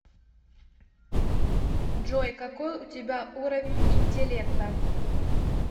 джой какой у тебя уровень интеллекта